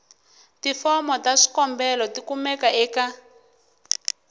tifomo ta swikombelo tikumeka eka